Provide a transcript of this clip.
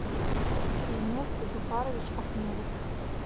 ильнур зуфарович ахмедов